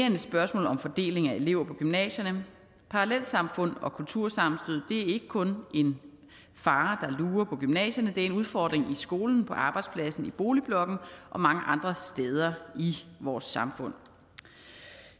er et spørgsmål om fordeling af elever på gymnasierne parallelsamfund og kultursammenstød er ikke kun en fare der lurer på gymnasierne det er en udfordring i skolen på arbejdspladsen i boligblokken og mange andre steder i vores samfund